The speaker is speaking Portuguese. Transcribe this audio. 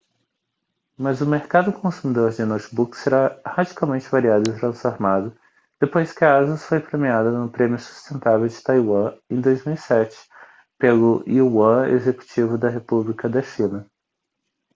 mas o mercado consumidor de notebooks será radicalmente variado e transformado depois que a asus foi premiada no prêmio sustentável de taiwan em 2007 pelo yuan executivo da república da china